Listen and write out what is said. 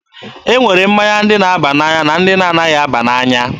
E nwere mmanya ndị na-aba n'anya na ndị na anaghị aba n'anya.